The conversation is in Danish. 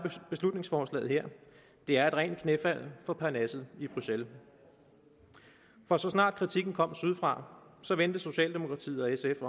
beslutningsforslaget her er et rent knæfald for parnasset i bruxelles for så snart kritikken kom sydfra vendte socialdemokratiet og sf